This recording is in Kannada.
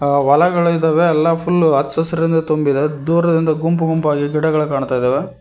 ಆ ಹೊಲಗಳಿದಾವೆ ಎಲ್ಲಾ ಫುಲ್ ಹಚ್ಚ ಹಸಿರಿನಿಂದ ತುಂಬಿದೆ ದೂರದಿಂದ ಗುಂಪು ಗುಂಪಾಗಿ ಗಿಡಗಳು ಕಾಣ್ತಾ ಇದಾವೆ.